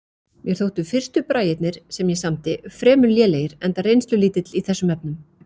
Mér þóttu fyrstu bragirnir, sem ég samdi, fremur lélegir enda reynslulítill í þessum efnum.